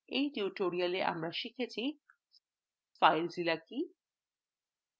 in tutorial আমরা শিখেছিfilezilla সম্পর্কে